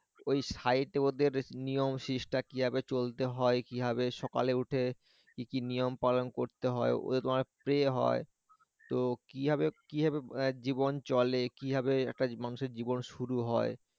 ওই site এ ওদের নিয়ম শিষ্টাচার কিভাবে চলতে হয় কিভাবে সকালে উঠে কি কি নিয়ম পালন করতে হয় ওদের অনেক pray হয় তো কিভাবে কিভাবে জীবন চলে কিভাবে একটা মানুষের জীবন শুরু হয়